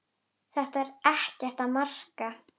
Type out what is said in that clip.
Þetta er ekkert að marka.